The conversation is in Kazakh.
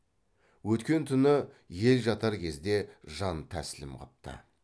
өткен түні ел жатар кезде жантәслім қыпты